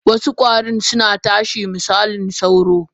Wasu kwarin suna tashi misali sauro.